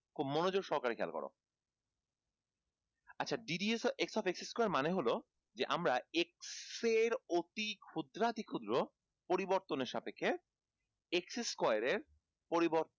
খুব মনোযোগ সহকারে খেয়াল করো আচ্ছা ddx of x square মানে হলো যে x এর অতি ক্ষুদ্রাতি ক্ষুদ্র পরিবর্তনের সাপেক্ষে x square এর পরিবর্তন